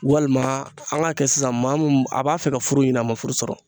Walima an k'a kɛ sisan maa mun a b'a fɛ ka furu ɲini a ma furu sɔrɔ